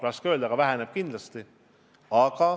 Raske öelda, aga väheneb kindlasti.